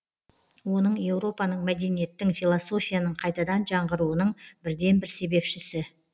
оның еуропаның мәдениеттің философияның қайтадан жаңғыруының бірден бір себепшісі